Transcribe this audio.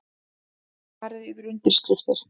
Farið yfir undirskriftir